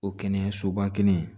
O kɛnɛyasoba kelen